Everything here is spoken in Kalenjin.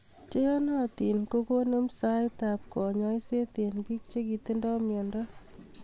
Cheyanatin kokonem saet ab kanyaiset eng biik chikitindo miando